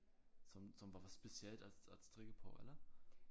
Som som var specielt at at strikke på eller?